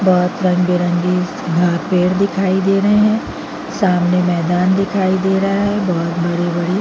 बहोत रंग- बिरंगी वहाँ पेड़ दिखाई दे रहे है सामने मैदान दिखाई दे रहा है बहोत बड़ी -बड़ी--